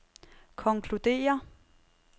konkluderer